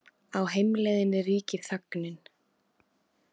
Á heimleiðinni ríkir þögnin.